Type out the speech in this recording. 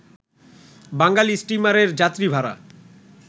বাঙালি স্টিমারের যাত্রীভাড়া